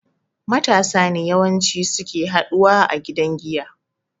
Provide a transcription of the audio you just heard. Matasa ne yawan ci suke haɗuwa a gidan giya